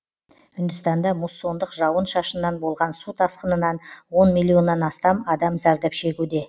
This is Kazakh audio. үндістанда муссондық жауын шашыннан болған су тасқынынан он миллионнан астам адам зардап шегуде